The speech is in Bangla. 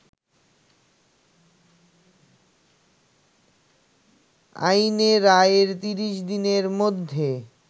আইনে রায়ের ৩০ দিনের মধ্যে